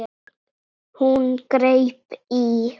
Hún greip í